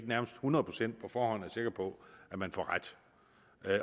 nærmest hundrede procent sikker på at man får ret